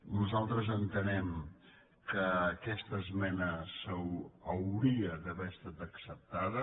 nosaltres entenem que aquesta esmena hauria d’haver estat acceptada